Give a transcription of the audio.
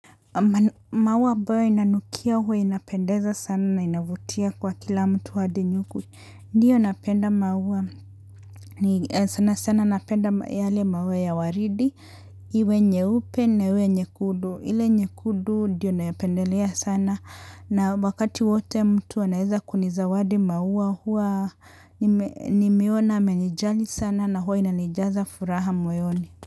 Maua ambayo inanukia huwa inapendeza sana na inavutia kwa kila mtu hadi nyuku. Ndiyo napenda maua, sanasana napenda yale maua ya waridi, iwe nyeupe na iwe nyekudu. Ile nyekundu ndiyo ninayopendelea sana na wakati wote mtu anaweza kunizawadi maua huwa nime nimeona amenijali sana na huwe inanijaza furaha moyoni.